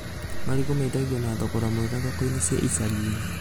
Marigũ mendagio na thogora mwega thoko-inĩ cia icagi-inĩ